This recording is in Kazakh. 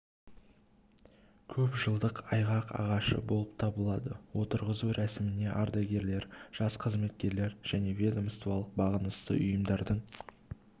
көпжылдық айғақ ағашы болып табылады отырғызу рәсіміне ардагерлер жас қызметкерлер және ведомстволық бағынысты ұйымдардың